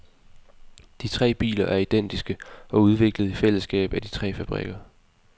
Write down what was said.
De tre biler er identiske og udviklet i fællesskab af de tre fabrikker.